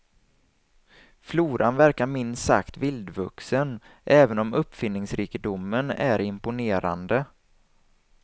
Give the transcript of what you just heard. Floran verkar minst sagt vildvuxen, även om uppfinningsrikedomen är imponerande.